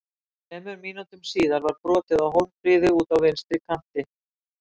Þremur mínútum síðar var brotið á Hólmfríði úti á vinstri kanti.